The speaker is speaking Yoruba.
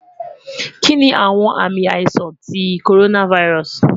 Kini awọn aami aisan ti coronavirus